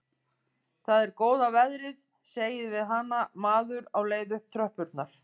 Það er góða veðrið, segir við hana maður á leið upp tröppurnar.